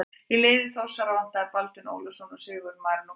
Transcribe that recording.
Í liði Þórsara vantaði Baldvin Ólafsson og Sigurð Marinó Kristjánsson.